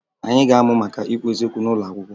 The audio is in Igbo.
Anyị ga-amụ maka ikwu eziokwu n'ụlọ akwụkwọ